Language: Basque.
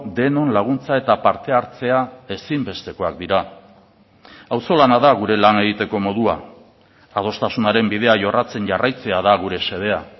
denon laguntza eta parte hartzea ezinbestekoak dira auzolana da gure lan egiteko modua adostasunaren bidea jorratzen jarraitzea da gure xedea